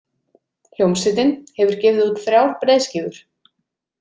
Hljómsveitin hefur gefið út þrjár breiðskífur.